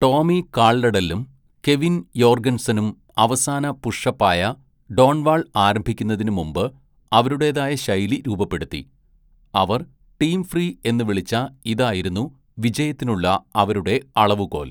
ടോമി കാൽഡഡെല്ലും കെവിൻ യോർഗെൻസണും അവസാന പുഷ് അപ്പായ ഡോൺ വാൾ ആരംഭിക്കുന്നതിനു മുമ്പ് അവരുടേതായ ശൈലി രൂപപ്പെടുത്തി; അവർ ടീം ഫ്രീ എന്ന് വിളിച്ച ഇതായിരുന്നു വിജയത്തിനുള്ള അവരുടെ അളവുകോൽ.